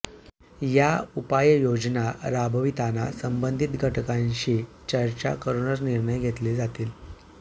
या उपाययोजना राबविताना संबंधित घटकांशी चर्चा करूनच निर्णय घेतले जातील